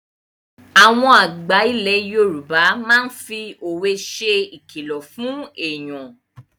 Àwọn àgbà ilẹ̀ Yorùbá máa fi òwe ṣe ìkìlọ̀ fún èyàn.